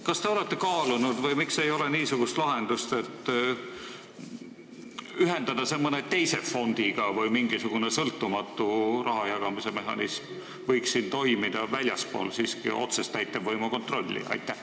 Kas te olete kaalunud või miks ei ole pakutud niisugust lahendust, et ühendada see nõukogu mõne teise fondiga, või seda, et siin võiks toimida mingisugune sõltumatu raha jagamise mehhanism, väljaspool otsest täitevvõimu kontrolli?